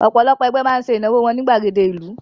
Ọ̀pọ̀lọpọ̀ ẹgbẹ́ máa ń ṣe ìnáwó wọn ní ìgbàgede ìlú